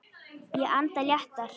Ég anda léttar.